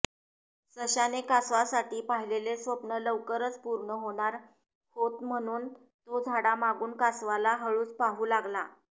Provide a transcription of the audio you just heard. सश्याने कासवासाठी पाहिलेलं स्वप्न लवकरच पूर्ण होणार होत म्हणून तो झाडामागून कासवाला हळूच पाहू लागला